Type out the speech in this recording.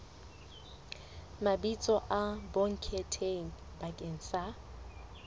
mabitso a bonkgetheng bakeng sa